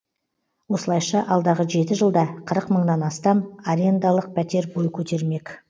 осылайша алдағы жеті жылда қырық мыңнан астам арендалық пәтер бой көтермек